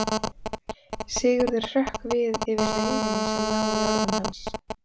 Sigurður hrökk við yfir reiðinni sem lá í orðum hans.